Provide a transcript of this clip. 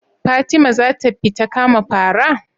Fatima zata fita kama fara?